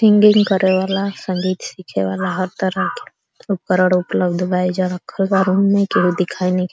Singing करे वाला संगीत सीखे वाला हर तरह के उपकरण उपलब्ध बा। ऐईजा रखल बा रूम में। केहू दिखाई नइखे --